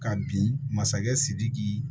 Ka bin masakɛ sidiki